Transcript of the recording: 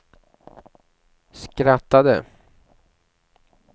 skrattade